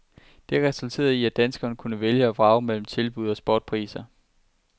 Det resulterede i, at danskerne kunne vælge og vrage mellem tilbud til spotpriser.